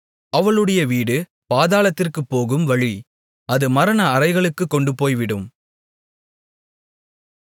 அவளுடைய வீடு பாதாளத்திற்குப்போகும் வழி அது மரண அறைகளுக்குக் கொண்டுபோய்விடும்